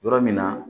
Yɔrɔ min na